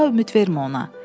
Daha ümid vermə ona.